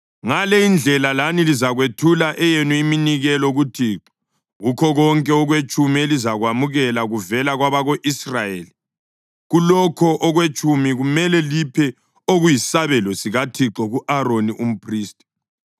Ngale indlela lani lizakwethula eyenu iminikelo kuThixo kukho konke okwetshumi elizakwamukela kuvela kwabako-Israyeli. Kulokho okwetshumi kumele liphe okuyisabelo sikaThixo ku-Aroni umphristi.